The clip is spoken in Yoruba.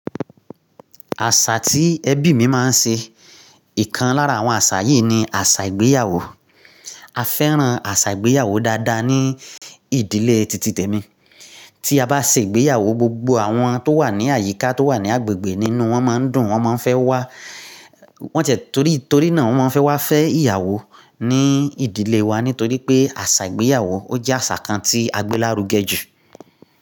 Àṣà tí ẹbí mi máa ń ṣe, ìkan lára àwọn àṣà yìí ni àṣà ìgbéyàwó. A fẹ́ràn àṣà ìgbéyàwó dáadáa ní ìdílé titi tèmi. Tí a bá ṣe ìgbéyàwó, gbogbo àwọn tó wà ní àyíká, tó wà ní agbègbè nínú wọn máa ń dùn, wọ́n máa ń fẹ́ wá. Wọ́n ti e, torí, torí náà wọ́n maa n fẹ́ wá fẹ́ ìyàwó ní ìdílé wa nítorí pé àṣà ìgbéyàwó ó jẹ́ àṣà kan tí agbé lárugẹ jù.